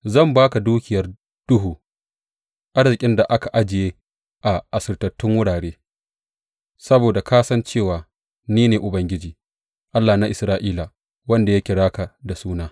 Zan ba ka dukiyar duhu, arzikin da aka ajiye a asirtattun wurare, saboda ka san cewa ni ne Ubangiji, Allah na Isra’ila, wanda ya kira ka da suna.